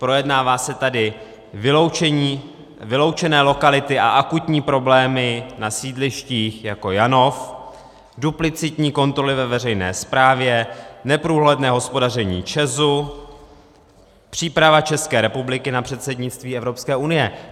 Projednávají se tady vyloučené lokality a akutní problémy na sídlištích jako Janov, duplicitní kontroly ve veřejné správě, neprůhledné hospodaření ČEZu, příprava České republiky na předsednictví Evropské unie.